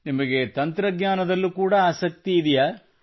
ನಿಮಗೆ ತಂತ್ರಜ್ಞಾನದಲ್ಲೂ ಕೂಡಾ ಆಸಕ್ತಿ ಇದೆಯೇ